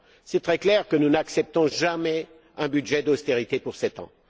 Il est très clair que nous n'accepterons jamais un budget d'austérité pour sept ans.